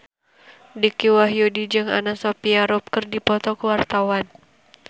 Dicky Wahyudi jeung Anna Sophia Robb keur dipoto ku wartawan